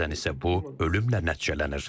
Bəzən isə bu ölümlə nəticələnir.